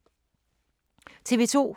TV 2